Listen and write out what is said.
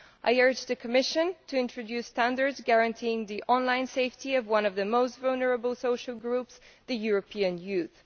I urge the Commission to introduce standards guaranteeing the online safety of one of the most vulnerable social groups European youth.